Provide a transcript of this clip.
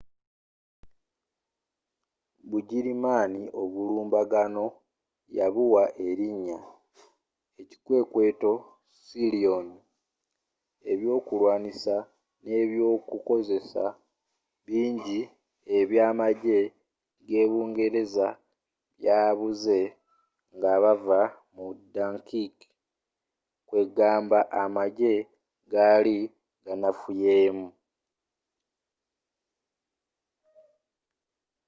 bugirimaani obulumbaganno yabuwa erinya ekikwekweto sealion”. ebyokulwanisa ne ebyokukozesa bingi ebya amajje ge’bungereza byabuze nga bavva mu dunkirk kwegamba amajje gali ganafuyemu